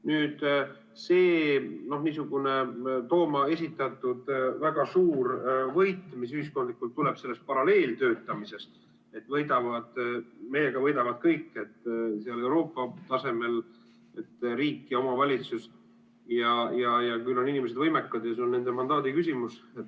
Nüüd see Tooma esitatud väga suur võit, mis peaks ühiskondlikul tasandil sellest paralleeltöötamisest tulema, et meiega võidavad kõik, Euroopa tasemel ja riik ja omavalitsus ja küll on inimesed võimekad ja see on nende mandaadi küsimus.